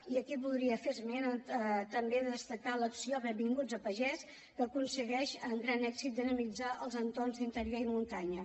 i aquí voldria també destacar l’acció benvinguts a pagès que aconsegueix amb gran èxit dinamitzar els entorns d’interior i muntanya